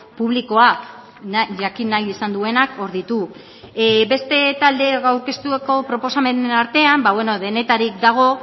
publikoa jakin nahi izan duenak hor ditu beste talde taldeek aurkeztutako proposamenen artean ba bueno denetatik dago